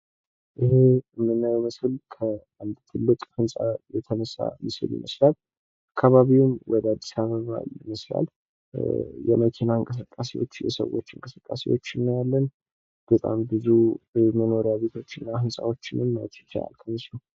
ይሄ የምናየው ምስል ከትልቅ ህንፃ ላይ የተነሳ ምስል ይመስላል ። አካባቢውም ወደ አዲስ አበባ ይመስላል። የመኪና እኝቅስቃሴዎች የሰዎች እንቅስቃሴዎች እናያለን በጣም ብዙ መኖሪያ ቤቶችና ህንፃዎችንም ማየት ይቻላል ከምስሉ።